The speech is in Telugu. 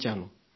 చూడండి